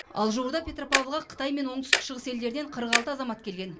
ал жуырда петропавлға қытай мен оңтүстік шығыс елдерінен қырық алты азамат келген